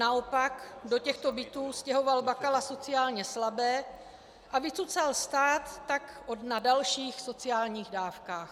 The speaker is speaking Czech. Naopak, do těchto bytů stěhoval Bakala sociálně slabé a vycucal tak stát na dalších sociálních dávkách.